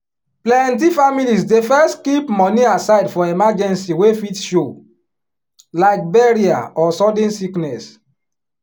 plenty families dey first keep money aside for emergency wey fit show like burial or sudden sickness.